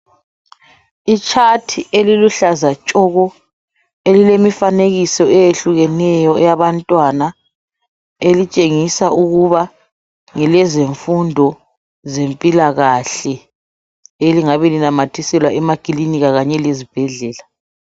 I chart eliluhlaza tshoko elilemfanekiso eyehlukeneyo eyabantwana elitshengisa ukuba ngelezemfundo zempilakahle elingabe linamathiselwa emakilinika kanye lezibhedlela.